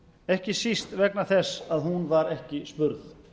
ekki síst vegna þess að hún var ekki spurð